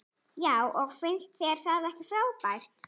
Já og finnst þér það ekki frábært?